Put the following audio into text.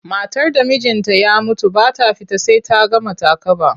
Matar da mijinta ya mutu ba ta fita sai ta gama takaba.